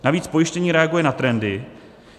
Navíc pojištění reaguje na trendy.